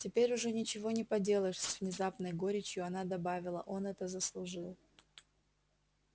теперь уже ничего не поделаешь с внезапной горечью она добавила он это заслужил